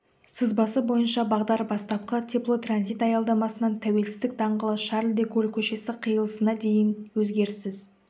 сызбасы бойынша бағдар бастапқы теплотранзит аялдамасынан тәуелсіздік даңғылы шарль де голль көшесі қиылысына дейін өзгеріссіз